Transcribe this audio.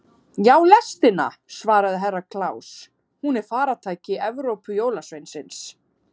Já, lestina, svaraði Herra Kláus, hún er faratæki Evrópujólasveinsins.